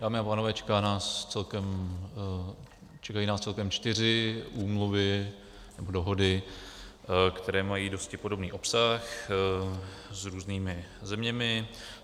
Dámy a pánové, čekají nás celkem čtyři úmluvy nebo dohody, které mají dosti podobný obsah s různými zeměmi.